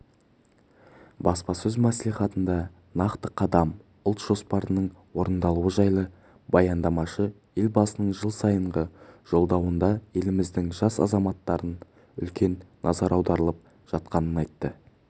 баспасөз мәслихатында нақты қадам ұлт жоспарының орындалуы жайлы баяндамашы елбасының жыл сайынғы жолдауында еліміздің жас азаматтарына үлкен назар аударылып жатқанын айтты